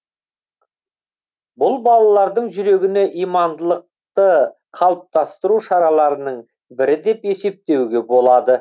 бұл балалардың жүрегіне имандылықты қалыптастыру шараларының бірі деп есептеуге болады